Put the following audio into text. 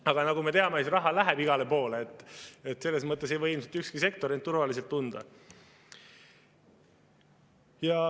Aga nagu me teame, siis raha läheb igale poole, selles mõttes ei või ilmselt ükski sektor end turvaliselt tunda.